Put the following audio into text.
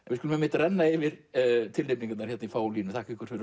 við skulum renna yfir tilnefningarnar í fáum línum þakka ykkur fyrir